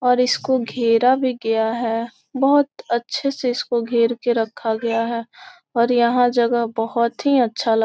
और इसको घेरा भी गया है बोहत अच्छे से इसको घेर के रखा गया है और यहाॅं जगह बोहत ही अच्छा लग --